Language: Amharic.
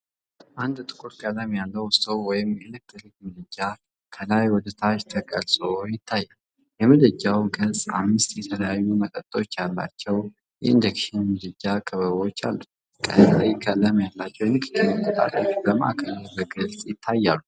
አዲስ ጥቁር ቀለም ያለው ስቶቭ ወይም የኤሌክትሪክ ምድጃ ከላይ ወደ ታች ተቀርጾ ይታያል። የምድጃው ገጽ አምስት የተለያዩ መጠኖች ያላቸው የኢንደክሽን ምድጃ ክበቦች አሉት። ቀይ ቀለም ያላቸው የንክኪ መቆጣጠሪያዎች በማዕከሉ ላይ በግልጽ ይታያሉ።